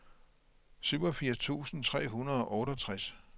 syvogfirs tusind tre hundrede og otteogtres